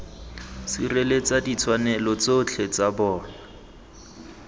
sireletsa ditshwanelo tsotlhe tsa bona